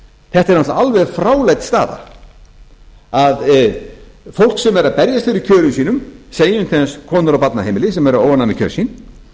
þetta er náttúrlega alveg fráleit staða að fólk sem er að berjast fyrir kjörum sínum segjum til dæmis konur á barnaheimili sem eru óánægðar með kjör sín